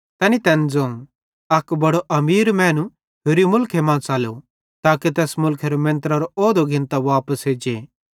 तैनी तैन ज़ोवं अक बड़ो अमीर मैनू होरि मुलखे मां च़लो ताके तैस मुलखेरो मेंत्रेरो औहुदो घिन्तां वापस एज्जे